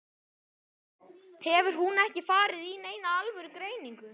Hefur hún ekki farið í neina alvöru greiningu?